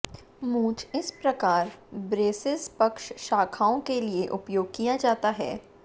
मूंछ इस प्रकार ब्रेसिज़ पक्ष शाखाओं के लिए उपयोग किया जाता है